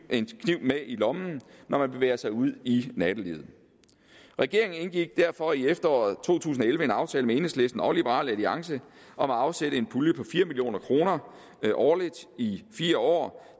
med i lommen når man bevæger sig ud i nattelivet regeringen indgik derfor i efteråret to tusind og elleve en aftale med enhedslisten og liberal alliance om at afsætte en pulje på fire million kroner årligt i fire år